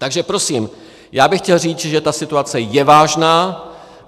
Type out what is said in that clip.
Takže prosím, já bych chtěl říct, že ta situace je vážná.